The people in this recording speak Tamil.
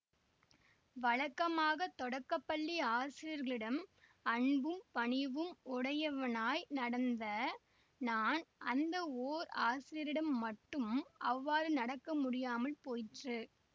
வழக்கமாக தொடக்க பள்ளி ஆசிரியர்களிடம் அன்பும் பணிவும் உடையவனாய் நடந்த நான் அந்த ஓர் ஆசிரியரிடம் மட்டும் அவ்வாறு நடக்க முடியாமல் போயிற்று